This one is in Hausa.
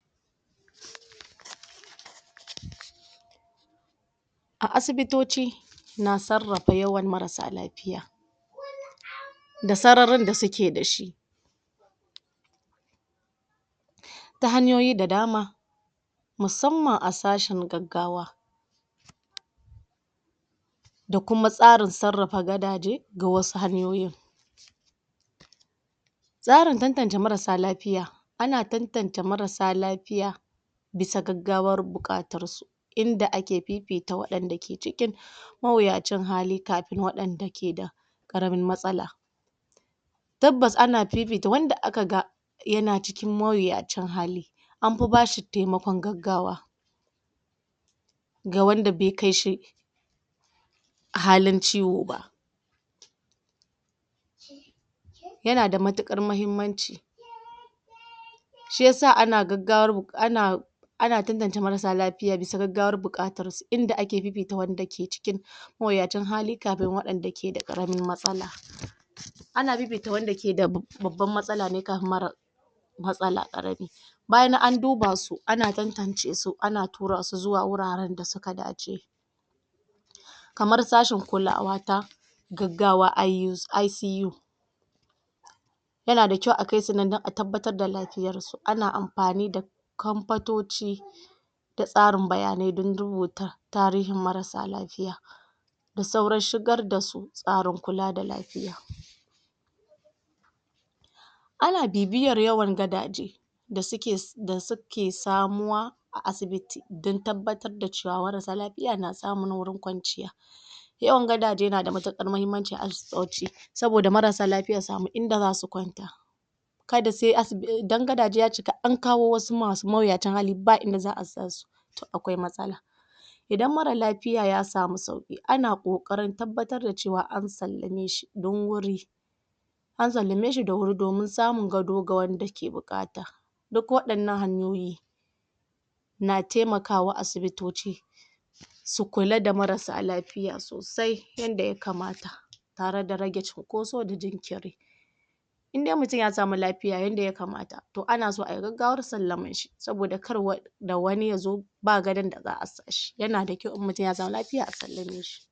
a asibitoci na sarrafa yawan marasa lafiya da sararin da suke dashi ta hanyoyi da dama musamman asashen gaggawa da kuma tsarin saarrafa gadaje ga wasu hanyoyin tsarin tantance marasa lafiya ana tantance marasa lafiya bisa gaggawar bukatar su inda ake fifita wadanda ke ciki mawuyacin hali kafin wadanda ke da karamin matsala tabbas ana fifita wanda akaga yana cikin mawuyacin hali anfi bashi taimakon gaggawa ga wanda be kaishi halin ciwo ba yanada matukar mahinmanci shiyasa ana gaggawa buk ana ana tantance marasa lafiya bisa gaggawan bukatarsu inda ake fifita wanda ke cikin mawuyacin hali kafin wadanda dake da karamin matsala ana fifiyta wanda keda babban matsala ne kafin marar matsala karami bayan an dubasu ana tantance su ana turasu zuwa wuraren dasuka dace kamar sashen kulawa ta gaggawa IU, ICU yanada kyau a kaisu nan dan a tabbatar da lafiyarsu ana amfani da kamfatoci da tsaran bayanai dan rubuta tarihin marasa lafiya da saurin shigar dasu tsarin kula da lafiya ana bibiyan yawan gadaje da suke da suke samuwa a asibiti dan tabbatar da cewa marasa lafiya na samun wurin kwanciya yawan gadaje nada mutukar mahimmanci a asibitoci saboda marasa lafiya su samu inda zasu kwanta kada sai asi dan gadaje ya cika an kawo wasu masu mawuyacin hali ba inda za'a sasu akwai matsala idan mara lafiya ya samu sauki ana kokarin tabbatar da cewan an sallame shi dawuri an sallameshi da wuri domin samun gado ga wanda ke bukata duk wadannan hanyoyi na taimakawa a asibitoci su kulada marasa lafiya sosai yanda ya kamata tareda rage cinkoso da jinkiri indai mutum ya samu lafiya yanda ya kamata anaso ayi gaggawar sallaman shi saboda kar da wani yazo ba gadon da za'a sashi yanada kyau idan mutum yasamu lafiya a sallameshi